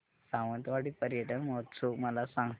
सावंतवाडी पर्यटन महोत्सव मला सांग